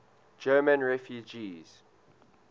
german refugees